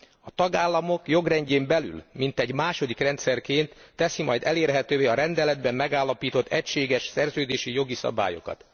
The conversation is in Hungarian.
A tagállamok jogrendjén belül, mintegy második rendszerként teszi majd elérhetővé a rendeletben megállapított egységes szerződési jogi szabályokat.